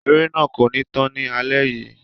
Eré náà kò ní tán ni alẹ yìí.